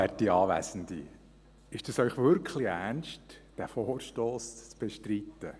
Ist es Ihnen wirklich ernst, diesen Vorstoss zu bestreiten?